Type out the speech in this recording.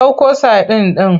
Ɗauko sadin ɗin!